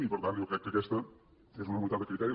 i per tant jo crec que aquesta és una unitat de criteri